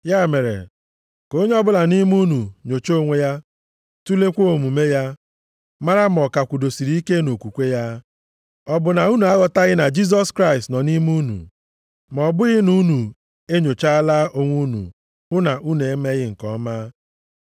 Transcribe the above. Ya mere, ka onye ọbụla nʼime unu nyochaa onwe ya, tulekwa omume ya, mara ma ọ ka kwudosiri ike nʼokwukwe ya. Ọ bụ na unu aghọtaghị na Jisọs Kraịst nọ nʼime unu? Ma ọ bụghị na unu enyochaala onwe unu hụ na unu emeghị nke ọma.